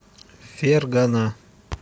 фергана